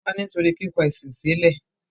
wọ́n pa á nítorí “ kíkọ ẹ̀sìn sílẹ̀”.